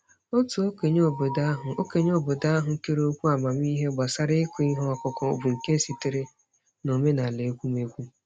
Otu okenye obodo ahụ okenye obodo ahụ kere okwu amamiihe gbasara ịkụ ihe ọkụkụ, bụ nke sitere n'omenala ekwumekwu.